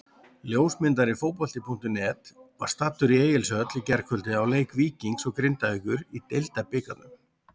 Ljósmyndari Fótbolti.net var staddur í Egilshöll í gærkvöldi á leik Víkings og Grindavíkur í Deildabikarnum.